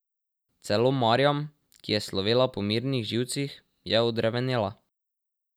Celo Marjam, ki je slovela po mirnih živcih, je odrevenela.